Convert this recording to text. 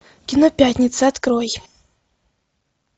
кино пятница открой